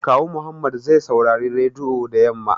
Kawu Muhammad zai saurari rediyo da yamma